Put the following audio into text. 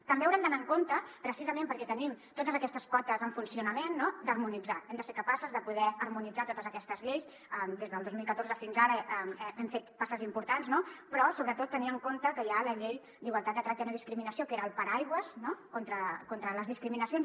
també haurem d’anar amb compte precisament perquè tenim totes aquestes potes en funcionament no d’harmonitzar hem de ser capaces de poder harmonitzar totes aquestes lleis des del dos mil catorze fins ara hem fet passes importants no però sobretot tenir en compte que hi ha la llei d’igualtat de tracte i no discriminació que era el paraigua contra les discriminacions